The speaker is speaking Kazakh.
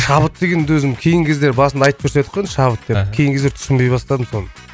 шабыт дегенді өзім кейінгі кезде басында айтып едік қой шабыт деп кейінгі кезде түсінбей бастадым соны